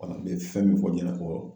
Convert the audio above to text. N bɛ fɛn min fɔ ɲɛna ko